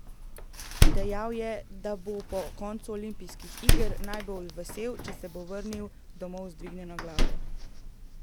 Dejal je, da bo po koncu olimpijskih iger najbolj vesel, če se bo vrnil domov z dvignjeno glavo.